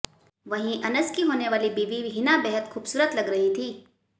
वहीं अनस की होने वाली बीवी हिना बेहद खूबसूरत लग रही थीं